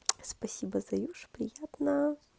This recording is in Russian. спасибо заюш приятно